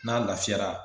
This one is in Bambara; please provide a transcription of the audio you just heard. N'a lafiyara